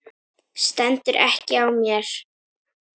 Stendur ekki á mér.